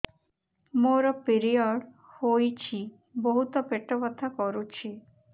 ମୋର ପିରିଅଡ଼ ହୋଇଛି ବହୁତ ପେଟ ବଥା କରୁଛି